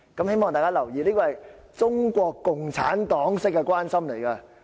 希望大家留意，這種是中國共產黨式的關心。